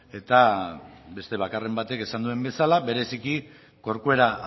eta beste bakarren batek esan duen bezala bereziki corcuera